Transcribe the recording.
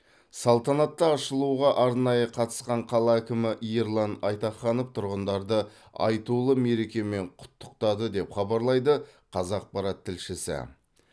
салтанатты ашылуға арнайы қатысқан қала әкімі ерлан айтаханов тұрғындарды айтулы мерекемен құттықтады деп хабарлайды қазақпарат тілшісі